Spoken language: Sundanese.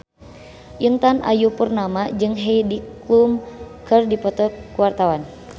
Intan Ayu Purnama jeung Heidi Klum keur dipoto ku wartawan